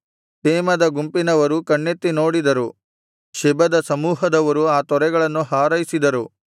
ತೇಮದ ಗುಂಪಿನವರು ಕಣ್ಣೆತ್ತಿ ನೋಡಿದರು ಶೆಬದ ಸಮೂಹದವರು ಆ ತೊರೆಗಳನ್ನು ಹಾರೈಸಿದರು